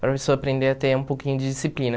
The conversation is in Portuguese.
Para pessoa aprender a ter um pouquinho de disciplina.